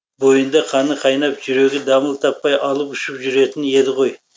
бойында қаны қайнап жүрегі дамыл таппай алып ұшып жүретін еді ғой